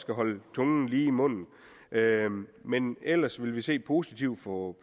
holde tungen lige i munden men ellers vil vi se positivt på